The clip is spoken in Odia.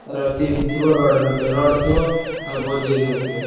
ତାର chips ଥିବ ରଡ ନଥିବ ରଡ ଥିବ ବଜୁରି ନଥିବ।